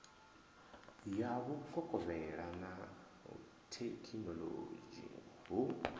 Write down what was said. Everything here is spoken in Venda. ya vhukovhela na thekhinolodzhi hu